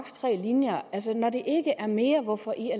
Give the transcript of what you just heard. tre linjer altså når det ikke er mere hvorfor i